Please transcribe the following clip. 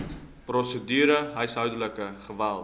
prosedure huishoudelike geweld